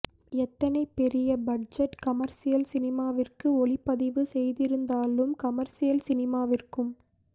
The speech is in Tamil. எத்தனை பெரிய பட்ஜெட் கமர்சியல் சினிமாவிற்கு ஒளிப்பதிவு செய்திருந்தாலும் கமர்சியல் சினிமாவிற்கும்